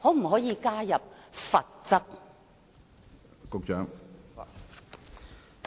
可否加入罰則？